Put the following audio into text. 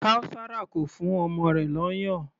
Kaosara kò fún ọmọ rẹ̀ lóyún.